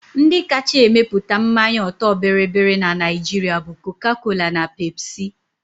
Ndi kacha emepụta mmanya ọtọ bịrịbịrị na Naijiria bụ Coca-Cola na Pepsi